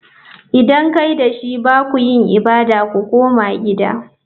Idan kai da shi ba ku yin ibada. Ku koma gida!